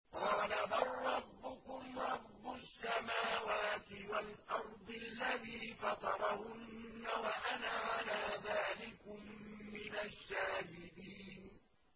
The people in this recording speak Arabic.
قَالَ بَل رَّبُّكُمْ رَبُّ السَّمَاوَاتِ وَالْأَرْضِ الَّذِي فَطَرَهُنَّ وَأَنَا عَلَىٰ ذَٰلِكُم مِّنَ الشَّاهِدِينَ